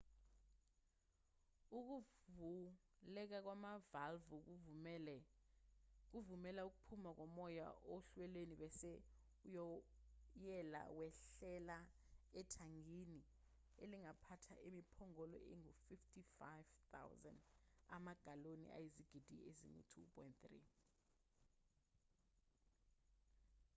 ukuvuleka kwamavalvu kuvumela ukuphuma komoya ohlelweni bese uwoyela wehlela ethangini elingaphatha imiphongolo engu-55,000 amagaloni ayizigidi ezingu-2.3